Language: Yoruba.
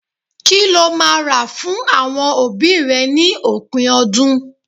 Kí lo máa rà fún àwọn òbí rẹ ní òpin ọdún?